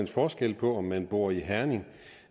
forskel på om man bor i herning